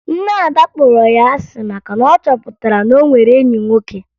Nne Ada kpọrọ ya asị maka na ọ chọpụtara na o nwere enyi nwoke